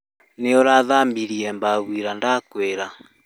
Nĩ ũrathambirie bafu ira ndakwĩra?